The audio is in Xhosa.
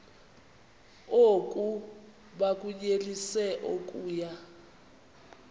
oku bakunyelise okuya